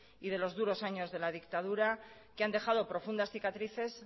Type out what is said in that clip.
y de los duros años de la dictadura que han dejado profundas cicatrices